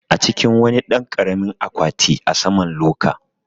A cikin wani ɗan karamin akwati a saman loka